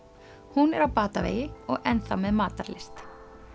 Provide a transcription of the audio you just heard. hún er á batavegi og enn þá með matarlyst